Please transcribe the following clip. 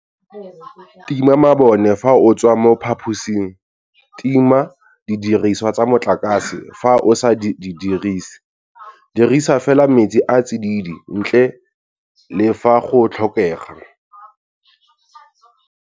Tima mabone fa o tswa mo phaposing. Tima didiriswa tsa motlakase fa o sa di dirise. Dirisa fela metsi a a tsididi, ntle le fa go tlhokega.